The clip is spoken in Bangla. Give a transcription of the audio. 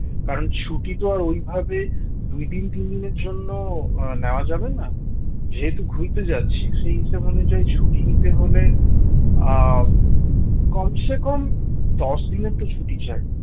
কারণ ছুটি তো আর ওইভাবে দুইদিন তিনদিনের জন্য আহ নেওয়া যাবে না, যেহেতু ঘুরতে যাচ্ছি সেই হিসাব অনুযায়ী ছুটি নিতে হলে আহ কমসে কম দশদিনের তো ছুটি চাই